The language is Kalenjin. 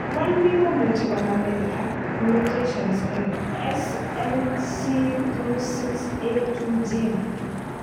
1B Komuche konamin ag mutations en SLC26A2 gene.